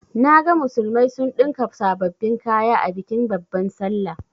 Naga musulmai sun ɗinka sababbin kaya a bikin babban sallah.